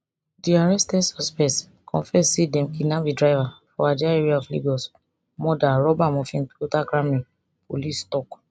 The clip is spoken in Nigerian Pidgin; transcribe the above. di arrested suspects confess say dem kidnap di driver for ajah area of lagos murder rob am of im toyota camry police tok